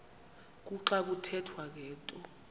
kuxa kuthethwa ngento